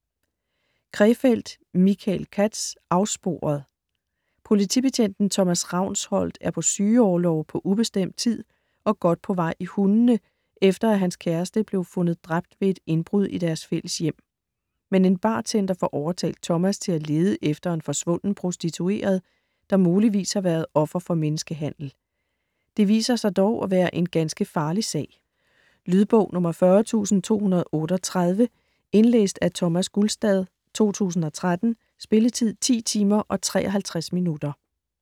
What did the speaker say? Krefeld, Michael Katz: Afsporet Politibetjenten Thomas Ravnsholdt er på sygeorlov på ubestemt tid og godt på vej i hundene, efter hans kæreste blev fundet dræbt ved et indbrud i deres fælles hjem. Men en bartender får overtalt Thomas til at lede efter en forsvunden prostitueret, der muligvis har været offer for menneskehandel. Det viser sig dog at være en ganske farlig sag. Lydbog 40238 Indlæst af Thomas Gulstad, 2013. Spilletid: 10 timer, 53 minutter.